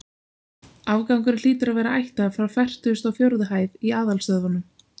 Afgangurinn hlýtur að vera ættaður frá fertugustu og fjórðu hæð í aðalstöðvunum.